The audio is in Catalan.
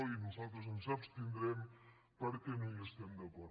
i nosaltres ens abstindrem perquè no hi estem d’acord